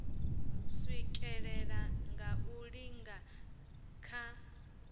swikelela nga u lingana kha